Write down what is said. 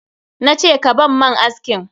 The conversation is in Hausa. Na ce ka ban man askin!